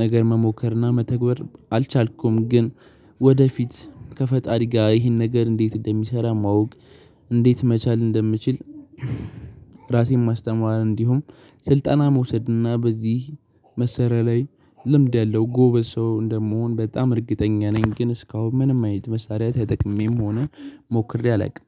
ነገር መሞከርና መተግበር አልቻልኩም። ግን ወደፊት ከፈጣሪ ጋር ይሄን ነገር እንዴት እንደሚሰራ ማወቅ፣ እንዴት መቻል እንደምችል ራሴን ማስተማር እንዲሁም ስልጠና መውሰድና በዚህ መሳሪያ ላይ ልምድ ያለው ጎበዝ ሰው እንደምሆን በጣም እርግጠኛ ነኝ ግን እስካሁን ምንም አይነት መሳሪያ ተጠቅሜም ሆነ ሞክሬ አላውቅም።